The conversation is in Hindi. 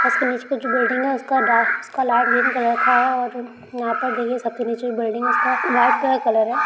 उसके नीचे का जो बिल्डिंग है उसका डार्क उसका लाईट ग्रीन कलर का है। और यहां पे देखिए सबसे नीचे जो बिल्डिंग है उसका वाइट कलर का कलर है ।